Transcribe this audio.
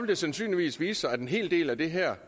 det sandsynligvis vise sig at en hel del af det her